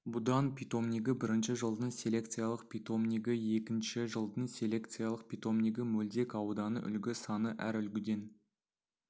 будан питомнигі бірінші жылдың селекциялық питомнигі екінші жылдың селекциялық питомнигі мөлдек ауданы үлгі саны әр үлгіден